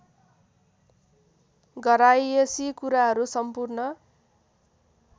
घरयाइसी कुराहरू सम्पूर्ण